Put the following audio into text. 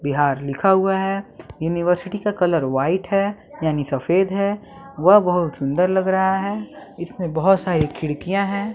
बिहार लिखा हुआ है यूनिवर्सिटी का कलर व्हाइट है यानी सफेद है वह बहुत सुंदर लग रहा है इसमें बहोत सारी खिड़कियां है।